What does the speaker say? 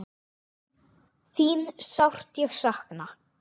Þín sárt ég sakna.